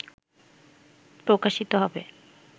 প্রকাশিত হবে